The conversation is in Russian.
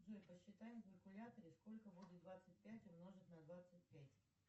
джой посчитай на калькуляторе сколько будет двадцать пять умножить на двадцать пять